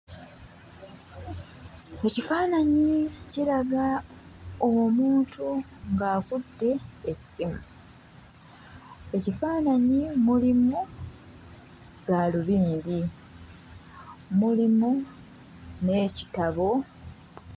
Ekifaananyi kiraga omuntu ng'akutte essimu. Ekifaananyi mulimu gaalubindi, mulimu n'ekitabo...